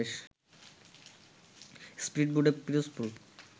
স্পীডবোটে Pirojpur